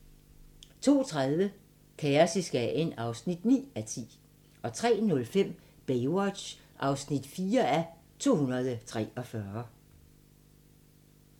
02:30: Kaos i Skagen (9:10) 03:05: Baywatch (4:243)